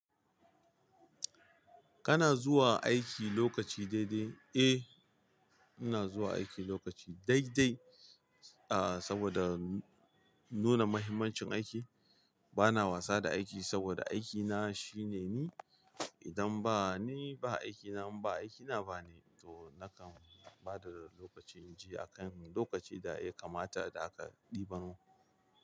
Kana zuwa aiki lokaci daidai? Eh, ina zuwa aiki lokaci daidai, ah saboda nuna muhimmancin aiki. Bana wasa da aiki saboda aikina shine ni. Idan ba ni ba aikina, ba aikina ba ni, to nakan bada lokaci, in ji a kan lokaci da ya kamata da aka ɗiban.